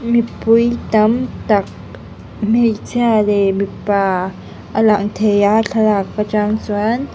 mipui tam tak hmeichhia leh mipa a lang thei a thlalak a trang chuan.